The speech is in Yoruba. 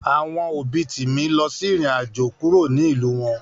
Àwọn òbí Timi lọ irin àjò kúrò nínú ìlú wọn